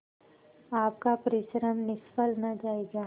आपका परिश्रम निष्फल न जायगा